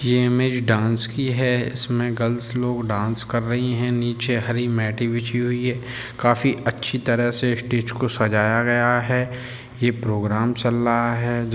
ये image dance की है इसमें गर्ल्स लोग डांस कर रहीं हैं नीचे हरी मैटें बिछी हुई है काफी अच्छे तरह से स्टेज को सजाया गया है ये प्रोग्राम चल रहा है।